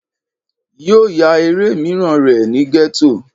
Yóò ya eré míràn rè ni Gétò